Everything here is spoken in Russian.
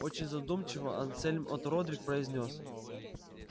очень задумчиво ансельм от родрик произнёс